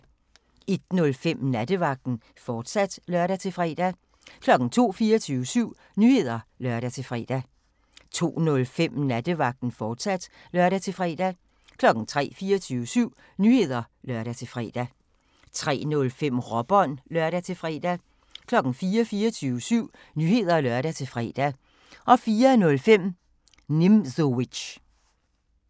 01:05: Nattevagten, fortsat (lør-fre) 02:00: 24syv Nyheder (lør-fre) 02:05: Nattevagten, fortsat (lør-fre) 03:00: 24syv Nyheder (lør-fre) 03:05: Råbånd (lør-fre) 04:00: 24syv Nyheder (lør-fre) 04:05: Nimzowitsch